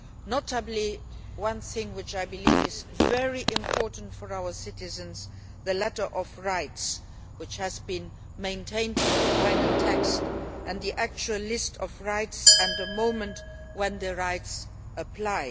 One thing in particular which I believe is very important for our citizens, the letter of rights, has been maintained in the final text as well as the actual list of rights and the moment when the rights apply.